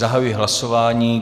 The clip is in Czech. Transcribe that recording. Zahajuji hlasování.